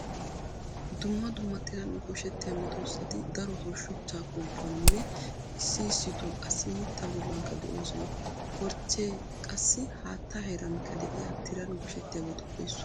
Dumma dumma tiran gooshettiya meedosati daroto shuchchaa kooppuwaaninne issi issito qassi mittaa bollankka de'oosona. Korchchee qassi haatta heerankka de'iya tiran gooshettiyabatuppe issuwa.